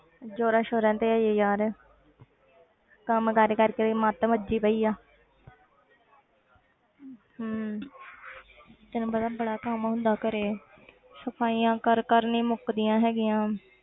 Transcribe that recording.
ਜੋਰਾਂ ਸੋਰਾਂ ਤੇ ਹੈ ਯਾਰ ਕੰਮ ਕਾਰ ਕਰਕੇ ਮੇਰੀ ਮੱਤ ਮੱਚੀ ਪਈ ਆ ਹਮ ਤੈਨੂੰ ਪਤਾ ਬੜਾ ਕੰਮ ਹੁੰਦਾ ਘਰੇ ਸਫ਼ਾਈਆਂ ਕਰ ਕਰ ਨੀ ਮੁੱਕਦੀਆਂ ਹੈਗੀਆਂ।